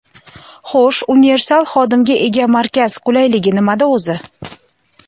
Xo‘sh universal xodimga ega markaz qulayligi nimada o‘zi?